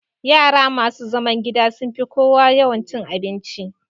Yara masu zaman gida sun fi kowa yawan cin abinci